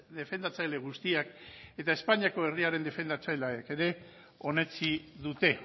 defendatzaile guztiak eta espainiako herriaren defendatzaileek ere onetsi dute